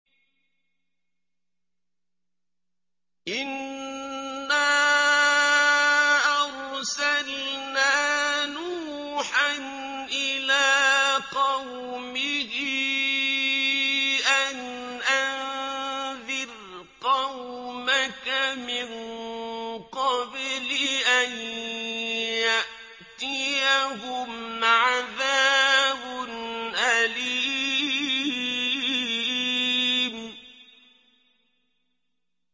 إِنَّا أَرْسَلْنَا نُوحًا إِلَىٰ قَوْمِهِ أَنْ أَنذِرْ قَوْمَكَ مِن قَبْلِ أَن يَأْتِيَهُمْ عَذَابٌ أَلِيمٌ